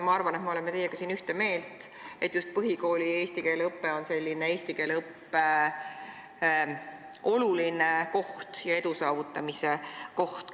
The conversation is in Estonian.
Ma arvan, et me oleme teiega siin ühte meelt, et just põhikool on eesti keele õppeks oluline koht ja edu saavutamise koht.